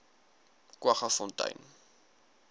kwaggafontein